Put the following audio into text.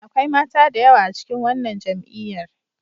Akwai mata da yawa a cikin wannan jam'iyyar.